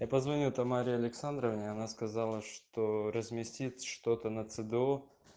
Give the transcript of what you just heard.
я позвонил тамаре александровне она сказала что разместит что-то на цдо